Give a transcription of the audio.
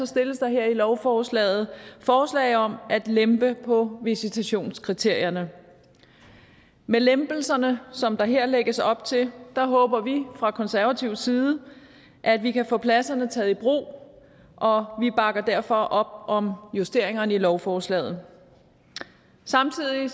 stilles der her i lovforslaget forslag om at lempe på visitationskriterierne med lempelserne som der her lægges op til håber vi fra konservativ side at vi kan få pladserne taget i brug og vi bakker derfor op om justeringerne i lovforslaget samtidig